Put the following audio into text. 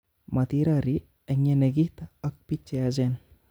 Motirori eng yenekit ak bik cheyachen